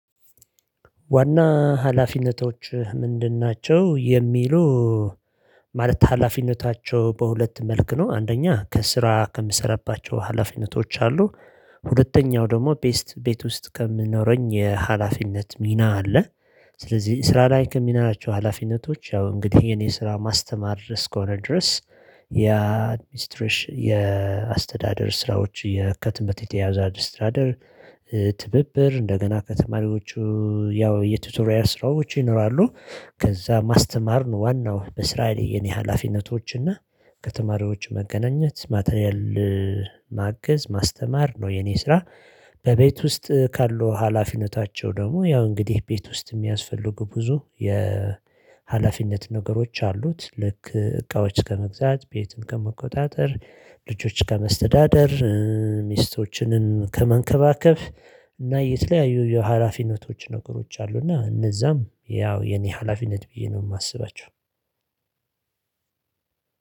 ዋና ሀላፊነቶች ምንድን ናቸው የሚሉ? ማለት ሀላፊነታቸው በሁለት መልክ ነው አንደኛ ከስራ ከምሰራባቸው ሀላፊነቶች አሉ ሁለተኛው ደግሞ ቤት ቤት ውስጥ ከምኖረኝ የሀላፊነት ሚና አለ። ስለዚህ ስራ ላይ ከምላችው ናቸው ሀላፊነቶች ያው እንግዲህ የኔ ስራ ማስተማር ድረስ ከሆነ ድረስ። የአድሚስትሬሽን የአስተዳደር ስራዎች የህትመት የተያያዘ አድስትራደር። ትብብር እንደገና ከተማሪዎቹ ያው የቲቶሪያ ስራዎች ይኖራሉ። ከዛ ማስተማር ዋናው በስራ ላይ የኔ ሀላፊነቶች እና ከተማሪዎች መገናኘት ማተርያል ማገዝ ማስተማር ነው የኔ ስራ። በቤት ውስጥ ካሉ ሀላፊነታቸው ደግሞ ያው እንግዲህ ቤት ውስጥ የሚያስፈልጉ ብዙ የሀላፊነት ነገሮች አሉት። ልክ እቃዎች ከመግዛት ቤትን ከመቆጣጠር ልጆች ከመስተዳደር ሚስቶችንን ከመንከባከብ እና የተለያዩ የሀላፊነቶች ነገሮች አሉና እነዛም ያው የኔ ሀላፊነት ብዬ ነው። ማስባቸው